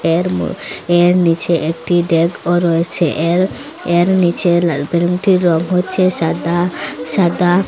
এর মো এর নীচে একটি ডেকও রয়েছে এর এর নীচে লাল বেলুনটির রং হচ্চে সাদা সাদা।